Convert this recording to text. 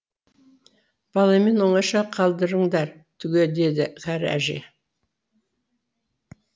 баламмен оңаша қалдырыңдар түге деді кәрі әже